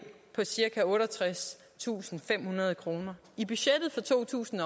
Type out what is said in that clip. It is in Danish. på cirka otteogtredstusinde og femhundrede kroner i budgettet for to tusind